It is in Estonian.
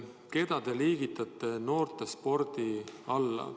Keda te liigitate noortespordi alla?